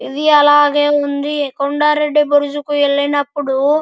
ఇవాళ మేము వండి కొండారెడ్డి బ్రిడ్జికి వెళ్ళినప్పుడు --